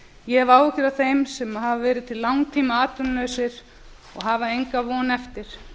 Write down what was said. ég hef áhyggjur af þeim sem hafa verið til langtíma atvinnulausir og hafa enga von eftir